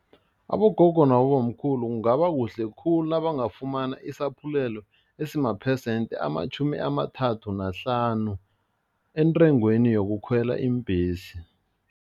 Abogogo nabobamkhulu kungaba kuhle khulu nabangafumana isaphulelo esima phesenthi amatjhumi amathathu nahlanu entengweni yokukhwela iimbhesi.